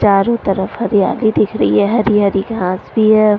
चारों तरफ हरियाली दिख रही है हरी हरी घास भी है ।